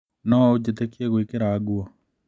No ũnjĩtĩkie ngĩkwĩra ũguo?